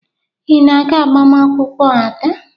Ị na-aga agbamaakwụkwọ Ada?